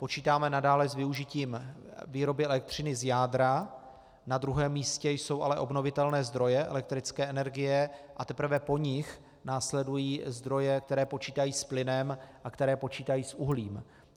Počítáme nadále s využitím výroby elektřiny z jádra, na druhém místě jsou ale obnovitelné zdroje elektrické energie, a teprve po nich následují zdroje, které počítají s plynem a které počítají s uhlím.